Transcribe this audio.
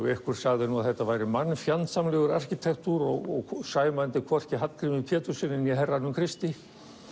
einhver sagði að þetta væri arkitektúr og sæmandi hvorki Hallgrími Péturssyni né herranum Kristi